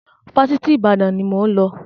Fásitì Ìbàdàn ni mo ń lọ